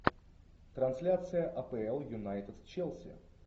трансляция апл юнайтед челси